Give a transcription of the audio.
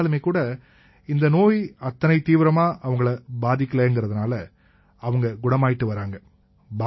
இருந்தாலுமேகூட இந்த நோய் அத்தனை தீவிரமா அவங்களை பாதிக்கலைங்கறதால அவங்க குணமாயிட்டு வர்றாங்க